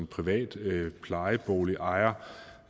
privat plejeboligejer